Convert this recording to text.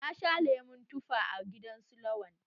Na sha lemon tufa a gidan su Lawan.